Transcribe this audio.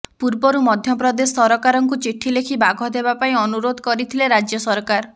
ପୂର୍ବରୁ ମଧ୍ୟପ୍ରଦେଶ ସରକାରଙ୍କୁ ଚିଠି ଲେଖି ବାଘ ଦେବା ପାଇଁ ଅନୁରୋଧ କରିଥିଲେ ରାଜ୍ୟ ସରକାର